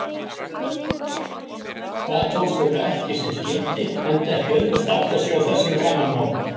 Það tókst þeim ekki sem skyldi enda ekki auðvelt að átta sig á þessum gamanmálum.